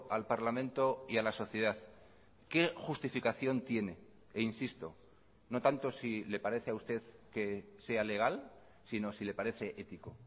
al parlamento y a la sociedad qué justificación tiene e insisto no tanto si le parece a usted que sea legal sino si le parece ético